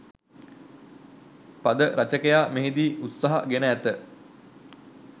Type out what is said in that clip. පද රචකයා මෙහිදී උත්සාහ ගෙන ඇත